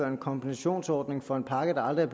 en kompensationsordning for en pakke der aldrig